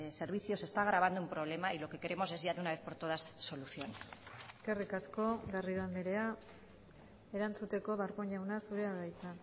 servicio se está agravando un problema y lo que queremos es ya de una vez por todas soluciones eskerrik asko garrido andrea erantzuteko darpón jauna zurea da hitza